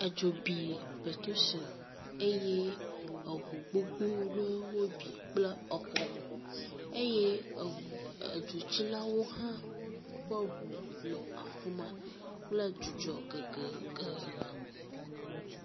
Edzo bi pɛtro tsel eye eŋu gogbo ɖewo wobi kple exɔwo eye eŋu edzotsilawo hã ƒe ŋu nɔ afi ma kple dzudzɔ gegege.